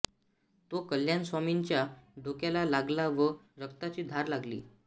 तो कल्याण स्वामींच्या डोक्याला लागला व रक्ताची धार लागली